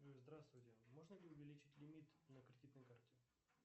джой здравствуйте можно ли увеличить лимит на кредитной карте